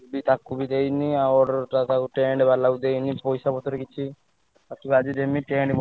ସେ ତାକୁ ବି ଦେଇନି ଆଉ order ଟା ତାକୁ tent ବାଲାକୁ ଦେଇନି ପଇସାପତ୍ର କିଛି ମତେ ଲାଗୁଛି ଯେମିତି tent ବନ୍ଧାହେଇନି।